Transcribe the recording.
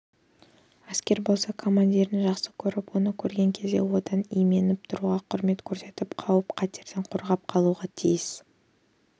әскер болса командирін жақсы көріп оны көрген кезде одан именіп тұруға құрмет көрсетіп қауіп-қатерден қорғап қалуға тиіс